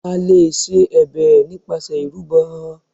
A lè ṣe ẹ̀bẹ̀ nípasẹ̀ ìrúbọ.